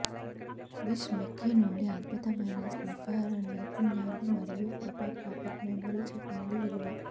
విజ్ మిక్కీ నుండి అద్భుతమైన స్నిపర్ నైపుణ్యాలు మరియు ఫోటోగ్రాఫిక్ మెమరీ చెప్పినది విలువ